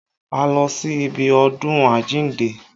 A lọ sí ibi ọdún àjíǹde